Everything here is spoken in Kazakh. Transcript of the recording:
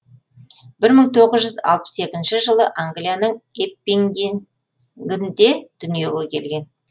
бір мың тоғыз жүз алпыс екінші жылы англияның эппингінгінде дүниеге келген